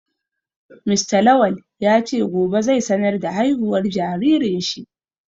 Mr Lawal ya ce gobe zai sanar da haihuwar jaririn shi